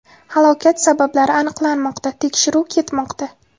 Halokat sabablari aniqlanmoqda, tekshiruv ketmoqda.